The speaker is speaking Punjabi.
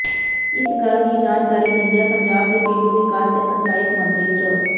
ਇਸ ਗੱਲ ਦੀ ਜਾਣਕਾਰੀ ਦਿੰਦਿਆ ਪੰਜਾਬ ਦੇ ਪੇਡੂੰ ਵਿਕਾਸ ਤੇ ਪੰਚਾਇਤ ਮੰਤਰੀ ਸ੍ਰ